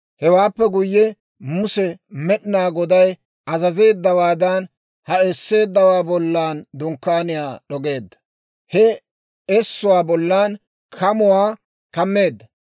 Hewaappe guyye Muse Med'inaa Goday azazeeddawaadan, ha esseeddawaa bollan dunkkaaniyaa d'ogeedda; he essuwaa bollan kamuwaa kammeedda.